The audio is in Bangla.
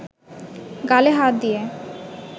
গালে হাত দিয়ে